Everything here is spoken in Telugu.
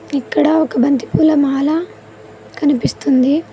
ఇక్కడ ఒక బంతిపూల మాల కనిపిస్తుంది.